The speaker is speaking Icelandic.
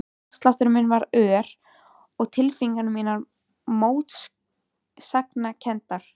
Hjartsláttur minn varð ör og tilfinningar mínar mótsagnakenndar.